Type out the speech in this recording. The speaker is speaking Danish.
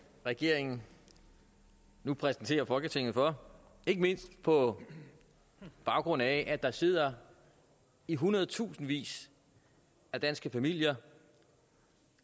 regeringen nu præsenterer folketinget for ikke mindst på baggrund af at der sidder i hundredtusindvis af danske familier